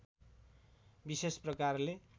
विशेष प्रकारले